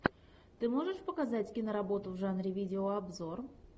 ты можешь показать киноработу в жанре видеообзор